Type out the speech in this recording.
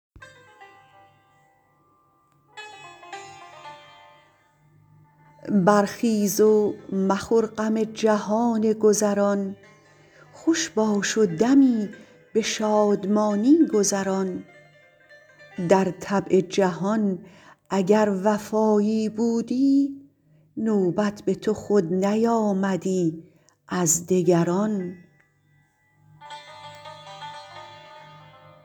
برخیز و مخور غم جهان گذران خوش باش و دمی به شادمانی گذران در طبع جهان اگر وفایی بودی نوبت به تو خود نیامدی از دگران